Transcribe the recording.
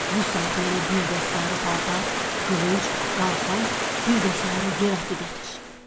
Bu saat mənə bir də sarı paltar, qılınc, qalxan, bir də sarı yel atı gətir.